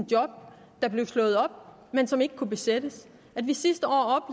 job der blev slået op men som ikke kunne besættes at vi sidste år